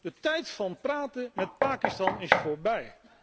De tijd van praten met Pakistan is voorbij.